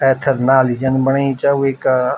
ऐथर नाली जन बणाई च वेका --